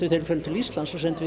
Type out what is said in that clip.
við förum til Íslands þá sendum við